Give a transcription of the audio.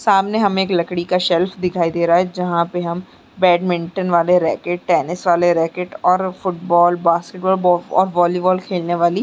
सामने हमें एक लकड़ी का शेल्फ दिखाई दे रहा है जहां पे हम बैडमिंटन वाले रैकेट टेनिस वाले रैकेट और फुटबॉल बास्केटबॉल ब और वॉलीबॉल खेलने वाली--